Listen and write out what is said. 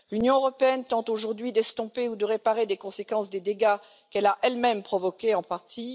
L'Union européenne tente aujourd'hui d'estomper ou de réparer les conséquences des dégâts qu'elle a elle même provoqués en partie.